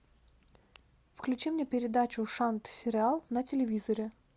включи мне передачу шант сериал на телевизоре